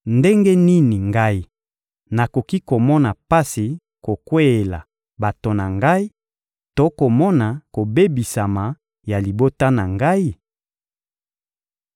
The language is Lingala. Ndenge nini ngai nakoki komona pasi kokweyela bato na ngai to komona kobebisama ya libota na ngai?